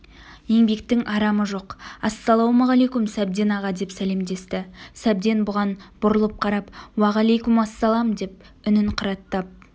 еңбектің арамы жоқ ассалаумәлейкум сәбден аға деп сәлемдесті сәбден бұған бұрылып қарап уағалайкумассалам деп үнін қыраттап